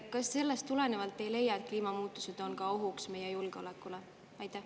Kas sellest tulenevalt te ei leia, et kliimamuutused on ka ohuks meie julgeolekule?